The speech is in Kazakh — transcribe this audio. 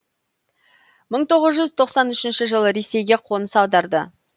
мың тоғыз жүз тоқсан үшінші жылы ресейге қоныс аударды